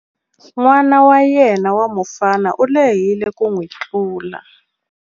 N'ana wa yena wa mufana u lehile ku n'wi tlula.